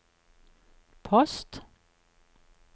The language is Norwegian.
post